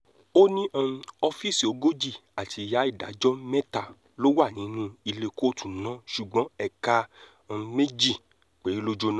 ó ní um ọ́fíìsì ogójì àti ìyá ìdájọ́ mẹ́ta ló wà nínú ilé kóòtù náà ṣùgbọ́n ẹ̀ka um méjì péré ló jóná